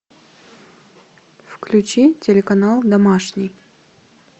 включи телеканал домашний